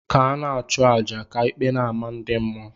ka ana achu aja, ka ikpe n' amah ndi mmuọ.